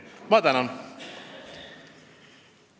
Ma tänan!